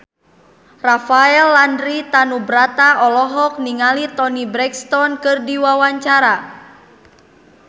Rafael Landry Tanubrata olohok ningali Toni Brexton keur diwawancara